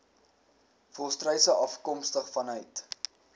volstruise afkomstig vanuit